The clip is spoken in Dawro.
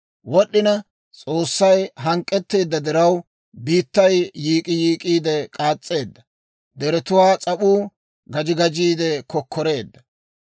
Wod'd'ina S'oossay hank'k'etteedda diraw, Biittay yiik'k'iyiik'k'iide k'aas's'eedda; deretuwaa s'ap'uu gaji gajiide kokkoreedda.